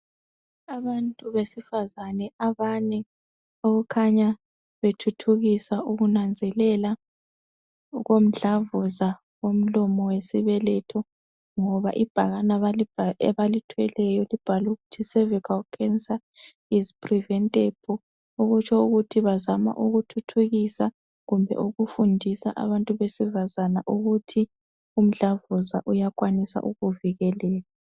Abantu besifazane abane abakhanya bethuthukisa ukunanzelela okomhlavunza okomlomi wesibeletho ngoba ibhakane abalithweleyo libhalwe ukuthi sevikhali khensa izi priventabhu